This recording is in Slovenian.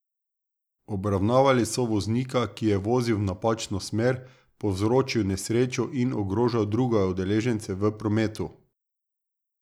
Obravnavali so voznika, ki je vozil v napačno smer, povzročil nesrečo in ogrožal druge udeležence v prometu.